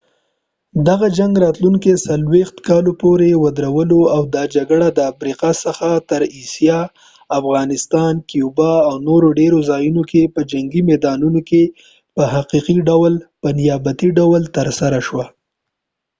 دغه جنګ راتلونکو 40 کالو پورې ودرلود او دا جګړه د افریقا څخه تر اسیا افغانستان کیوبا او نورو ډېرو ځایونو کې په جنګي میدانونو کې په حقیقي ډول په نیابتي ډول ترسره شوه